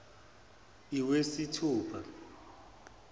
iwesithupha